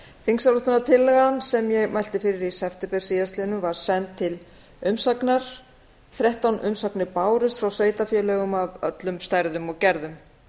þingsályktunartillagan sem ég mælti fyrir í september síðastliðnum var send til umsagnar þrettán umsagnir bárust frá sveitarfélögum af öllum stærðum og gerðum